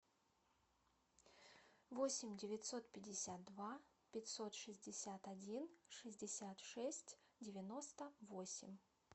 восемь девятьсот пятьдесят два пятьсот шестьдесят один шестьдесят шесть девяносто восемь